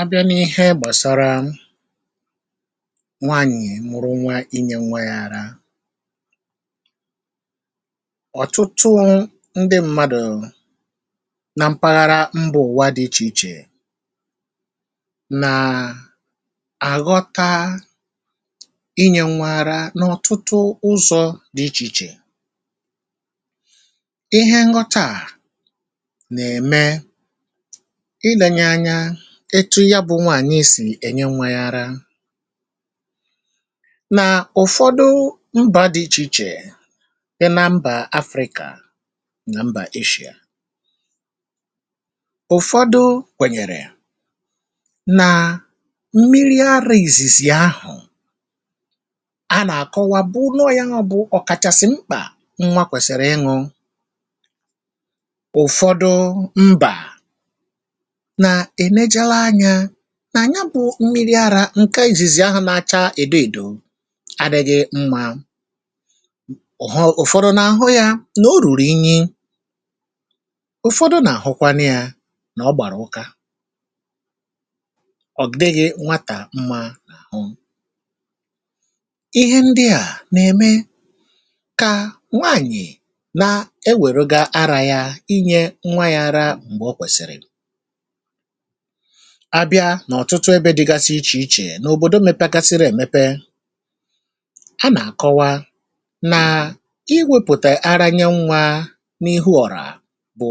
Abịa na ihe gbasara nwaanyị mụrụ nwa inye nwa ya ara ,ọtụtụ ndị mmadụ na mpaghara mba ụwa dị icheiche na aghọta inye nwa ara n'ọtụtụ ụzọ dị icheiche, ihe nghọta a na eme ilenye anya otu yabụ nwaanyị si enye nwa ya ara na ụfọdụ mba dị icheiche dị na mba Afrịka na mba Eshịa. Ụfọdụ kwenyere na mmiri ara izizi ahụ, ana akọwa bụ na ọya bụ ọkachasị mkpa nwa kwesịrị ịñụ. Ụfọdụ mbana enegara anya na nya bụ mmịrị ara nke izizi ahụ na acha edoedo adịghị mma, ụfọdụ na ahụ ya na oruru inyi, ụfọdụ na ahụkwanụ ya na ọgbara ụka,ọ dịghị nwata mma na ahụ. Ihe ndịa na eme ka nwaanyị na eweruga ara ya inye nwa ya ara mgbe okwesiri. Abịa na otutu ebe dịgasị icheiche na obodo mepegasịrị emepe ha na akọwa na iwepụta ara nye nwa n'ihu ọra bụ